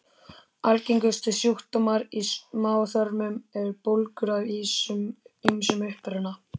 Algengustu sjúkdómar í smáþörmum eru bólgur af ýmsum uppruna.